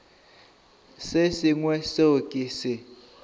se sengwe seo ke se